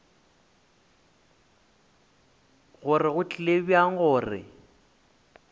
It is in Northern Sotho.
gore go tlile bjang gore